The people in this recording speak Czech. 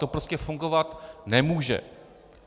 To prostě fungovat nemůže!